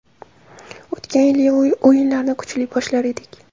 O‘tgan yili o‘yinlarni kuchli boshlar edik.